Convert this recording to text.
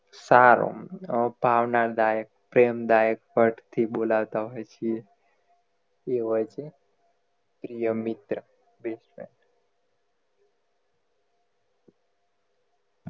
સારું ભાવનદાયક પ્રેમદાયક word થી બોલાવતા હોય છીએ એ હોય છે પ્રિય મિત્ર best friend